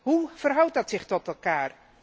Hoe verhoudt dat zich tot elkaar?